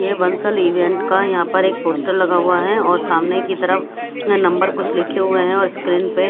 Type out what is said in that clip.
ये वंसल इवेंट का यहा पर एक पोस्टर लगा हुआ हैं और सामने कि तरफ यहा नंबर कुछ लिखे हुए हैं और स्क्रीन पे--